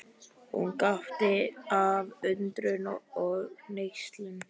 Hún gapti af undrun og hneykslun.